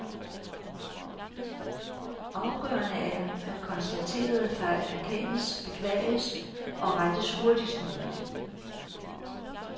Afgørende er, at konstaterede fejl erkendes, beklages og rettes hurtigst muligt.